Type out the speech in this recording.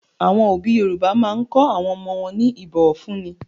Àwọn òbí Yorùbá máa ń kọ́ àwọn ọmọ wọn ní ìbọ̀fúnni.